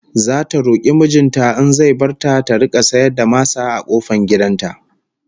Zata roki mijin ta in zai bar ta ta rika sayar da masa a kofar gidan ta